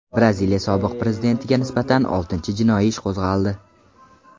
Braziliya sobiq prezidentiga nisbatan oltinchi jinoiy ish qo‘zg‘aldi.